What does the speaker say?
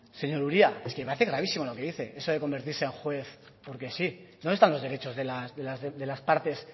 señor uria es que me parece gravísimo lo que dice eso de convertirse en juez porque sí dónde están los derechos de las partes